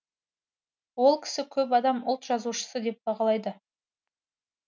ол кісіні көп адам ұлт жазушысы деп бағалайды